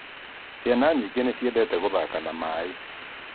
Ciana nyingĩ nĩciendete gũthaka na maĩ